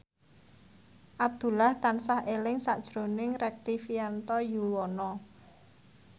Abdullah tansah eling sakjroning Rektivianto Yoewono